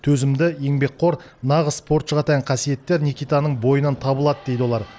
төзімді еңбекқор нағыз спортшыға тән қасиеттер никитаның бойынан табылады дейді олар